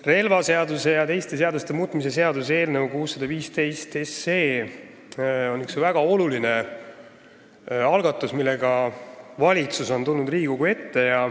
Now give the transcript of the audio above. Relvaseaduse ja teiste seaduste muutmise seaduse eelnõu on üks väga oluline algatus, millega valitsus on tulnud Riigikogu ette.